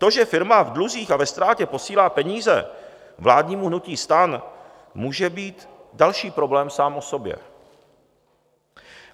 To, že firma v dluzích a ve ztrátě posílá peníze vládnímu hnutí STAN, může být další problém sám o sobě.